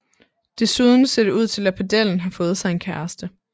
Desuden ser det ud til at pedellen har fået sig en kæreste